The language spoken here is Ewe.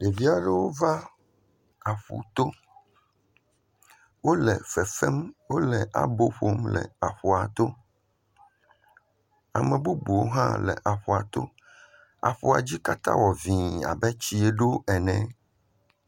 Ɖevi aɖewo va aƒu to. Wo le fefem, wo le abo ƒom le aƒua to. Ame bubuwo hã le aƒua to. Aƒua dzi katã le vi abe tsie ɖo ene.